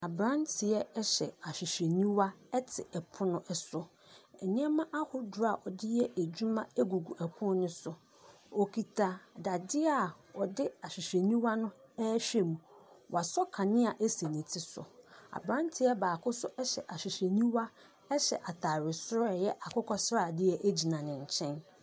Abranteɛ ɛhyɛ ahwehwɛniwa ɛte ɛpono ɛso. Nneɛma ahodoɔ a ɔde yɛ adwuma egugu ɛpono no so. Okita dade a ɔde ahwehwɛniwa no ɛhwɛ mu. Wasɔ kanea esi ne ti so. Abranteɛ baako nso ɛhyɛ ahwehwɛniwa, ɛhyɛ ataare soro a ɛyɛ akokɔsradeɛ egyina ne nkyɛn.